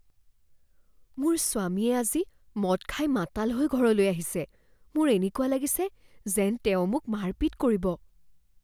মোৰ স্বামীয়ে আজি মদ খাই মাতাল হৈ ঘৰলৈ আহিছে। মোৰ এনেকুৱা লাগিছে যেন তেওঁ মোক মাৰপিট কৰিব।